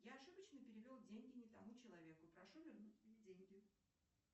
я ошибочно перевел деньги не тому человеку прошу вернуть мне деньги